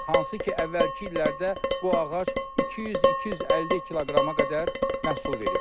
Hansı ki, əvvəlki illərdə bu ağac 200-250 kiloqrama qədər məhsul verib.